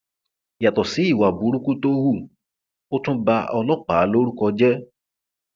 yàtọ sí ìwà burúkú tó hù ó tún ba ọlọpàá lórúkọ jẹ